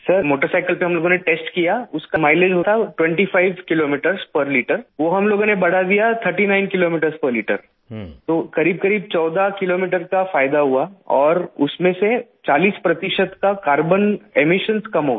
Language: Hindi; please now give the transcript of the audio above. सर मोटरसाइकिल पे हम लोगों ने टेस्ट किया उसका माइलेज था 25 किलोमीटरों पेर लिटर वो हम लोगों ने बढ़ा दिया 39 किलोमीटरों पेर लिटर तो करीबकरीब 14 किलोमीटर का फायदा हुआ और उसमें से 40 प्रतिशत का कार्बन इमिशंस कम हो गया